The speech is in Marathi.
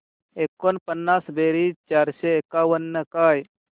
एकोणपन्नास बेरीज चारशे एकावन्न काय